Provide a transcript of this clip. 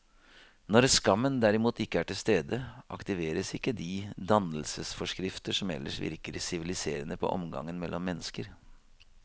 Når skammen derimot ikke er til stede, aktiveres ikke de dannelsesforskrifter som ellers virker siviliserende på omgangen mellom mennesker.